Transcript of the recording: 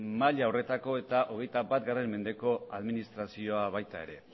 maila horretako eta hogeita bat mendeko administrazioa baita ere